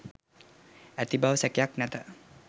ඇති බව සැකයක් නැත.